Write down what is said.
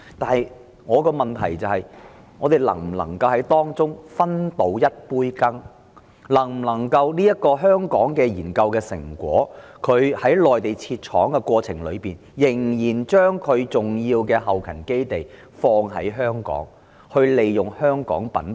透過在內地設廠生產而把在香港完成的研究成果商品化的同時仍然把重要的後勤基地設在香港，善用香港品牌？